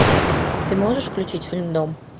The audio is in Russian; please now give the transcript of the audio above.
ты можешь включить фильм дом